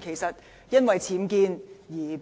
事實上，因為僭建而失